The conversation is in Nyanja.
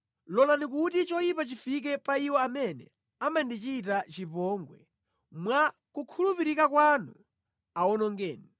Lolani kuti choyipa chifike pa iwo amene amandichita chipongwe; mwa kukhulupirika kwanu awonongeni.